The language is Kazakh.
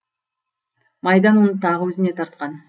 майдан оны тағы өзіне тартқан